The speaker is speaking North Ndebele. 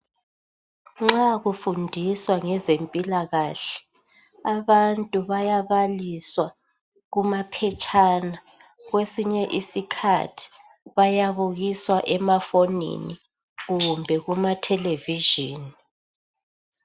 Nxa kufundiswa ngezempilakahle, abantu bayabaliswa kumaphetshana. Kwesinye isikhathi bayabukiswa emafonini, kumbe kumathelevizhini.